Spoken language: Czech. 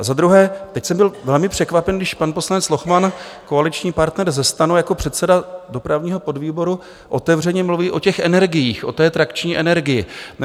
A za druhé, teď jsem byl velmi překvapen, když pan poslanec Lochman, koaliční partner ze STANu, jako předseda dopravního podvýboru otevřeně mluví o těch energiích, o té trakční energii.